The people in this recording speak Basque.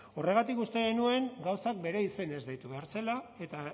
horregatik uste genuen gauzak bere izenez deitu behar zela eta